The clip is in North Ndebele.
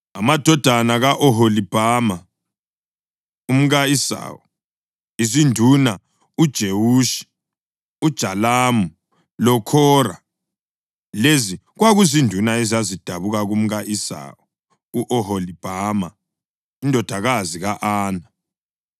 Amadodana ka-Oholibhama, umka-Esawu: Izinduna uJewushi, uJalamu loKhora. Lezi kwakuzinduna ezazidabuka kumka-Esawu, u-Oholibhama, indodakazi ka-Ana.